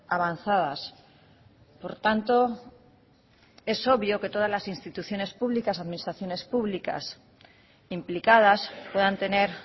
avanzadas por tanto es obvio que todas las instituciones públicas administraciones públicas implicadas puedan tener